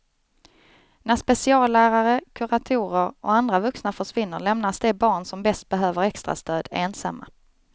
När speciallärare, kuratorer och andra vuxna försvinner lämnas de barn som bäst behöver extra stöd ensamma.